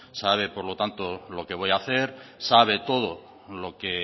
sabe por lo tanto lo que voy a hacer sabe todo lo que